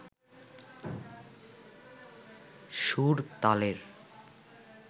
সুর, তালের